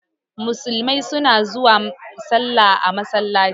Musulmai suna zuwa salla a masallaci.